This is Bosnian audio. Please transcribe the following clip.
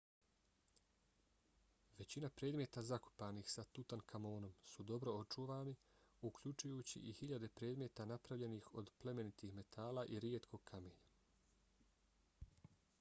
većina predmeta zakopanih sa tutankamonom su dobro očuvani uključujući i hiljade predmeta napravljenih od plemenitih metala i rijetkog kamenja